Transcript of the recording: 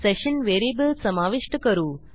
session variable समाविष्ट करू